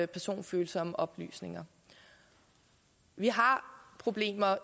personfølsomme oplysninger vi har problemer